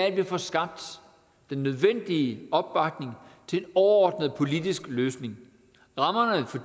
at få skabt den nødvendige opbakning til en overordnet politisk løsning rammerne for